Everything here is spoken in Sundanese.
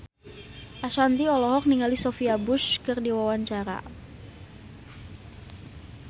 Ashanti olohok ningali Sophia Bush keur diwawancara